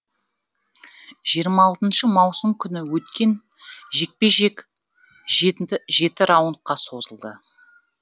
жиырма алтыншы маусым күні өткен жекпе жек жеті раундқа созылды